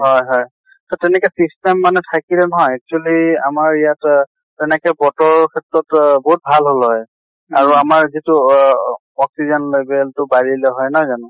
হয় হয় তʼ তেনেকে system মানে থাকিলে নহয় actually আমাৰ ইয়াত তেনেকে বতৰৰ ক্ষেত্ৰত বহুত ভাল হʼল হয়। আৰু আমাৰ যিটো অহ oxygen level টো বাঢ়িলে হয় নহয় জানো?